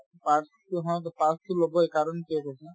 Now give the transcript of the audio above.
পাৰতো হওতে pass তো ল'বয়ে কাৰণ আছে না